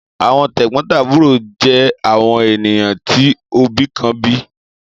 Àwọn tẹ̀gbón-tàbúro jé àwọn ènìyàn tí òbí kan bí